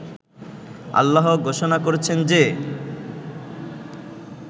আল্লাহ ঘোষণা করেছেন যে